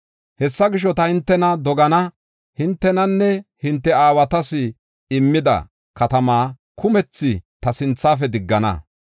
Hessa gisho, ta hintena dogana; hintenanne hinte aawatas immida katamaa kumethi ta sinthafe diggana.